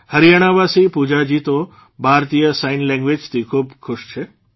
હરિયાણાવાસી પૂજાજી તો ભારતીય સાઇન લેંગ્વેઝથી ખૂબ ખુશ છે